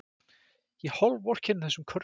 Ég hálfvorkenni þessum körlum.